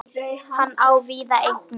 Hann á víða eignir.